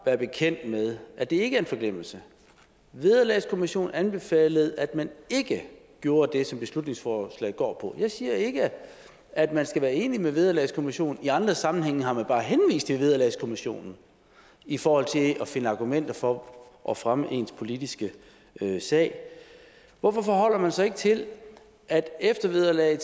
være bekendt med at det ikke er en forglemmelse vederlagskommissionen anbefalede at man ikke gjorde det som beslutningsforslaget går på jeg siger ikke at man skal være enig med vederlagskommissionen i andre sammenhænge har man bare henvist til vederlagskommissionen i forhold til at finde argumenter for at fremme sin politiske sag hvorfor forholder man sig ikke til at eftervederlaget